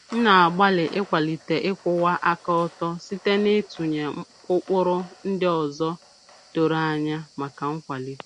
M na-agbalị ịkwalite ịkwụwa aka ọtọ site n'ịtụnye ụkpụrụ ndị ọzọ doro anya maka nkwalite.